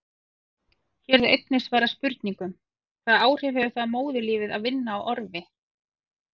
Hér er einnig svarað spurningunum: Hvaða áhrif hefur það á móðurlífið að vinna á orfi?